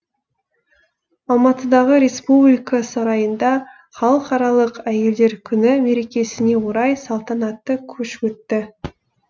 алматыдағы республика сарайында халықаралық әйелдер күні мерекесіне орай салтанатты кеш өтті